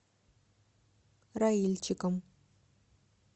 раильчиком